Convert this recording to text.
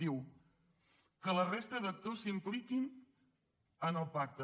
diu que la resta d’actors s’impliquin en el pacte